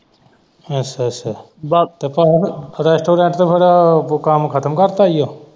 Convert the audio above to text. ਅੱਛਾ ਅੱਛਾ ਰਿਸਤੇਦਾਰ ਤੇ ਫਿਰ ਉਹ ਕੰਮ ਖਤਮ ਕਰਤਾ ਹੀ ਉਹ।